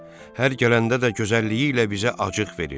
Hər gələndə də gözəlliyi ilə bizə acıq verir.